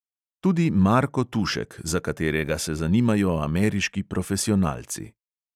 Tudi marko tušek, za katerega se zanimajo ameriški profesionalci.